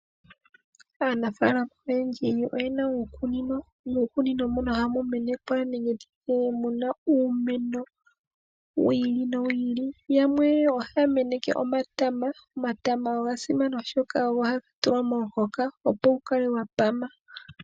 Aanafalama oyendji oyena uukunino nuukunino muno ohamu menekwa nenge nditye muna uumeno wu ili nowu ili. Yamwe ohaya meneke omatama. Omatama ogasimana oshoka oho haga tulwa momuhoka opo gukale gwapama.